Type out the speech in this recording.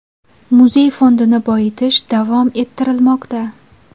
Muzey fondini boyitish davom ettirilmoqda.